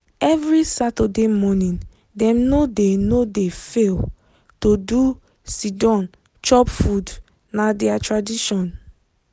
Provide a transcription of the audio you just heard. every saturday morning dem no dey no dey fail to do siddon chop food na their tradition.